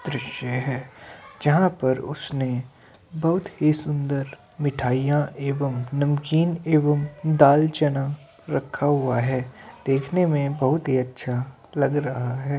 दृश्य है। जहां पर उसने बहुत ही सुन्दर मिठाइयां एवं नमकीन एवं दाल चना रखा हुआ है। देखने में बहुत ही अच्छा लग रहा है।